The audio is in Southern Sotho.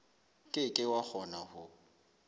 ke ke wa kgona ho